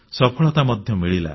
ସଫଳତା ମଧ୍ୟ ମିଳିଲା